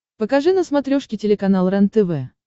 покажи на смотрешке телеканал рентв